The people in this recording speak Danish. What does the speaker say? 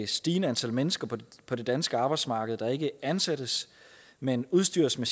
stigende antal mennesker på det danske arbejdsmarked ikke ansættes men udstyres med